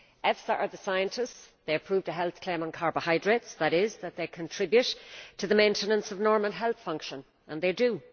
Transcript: EFSA are the scientists, they approved a health claim on carbohydrates, namely that they contribute to the maintenance of normal health function, as indeed they do.